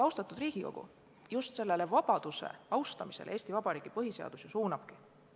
Austatud Riigikogu, just vabaduse austamisele Eesti Vabariigi põhiseadus suunabki.